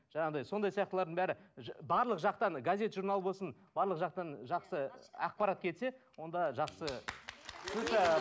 жаңағыдай сондай сияқтылардың бәрі барлық жақтан газет журнал болсын барлық жақтан жақсы ақпарат келсе онда жақсы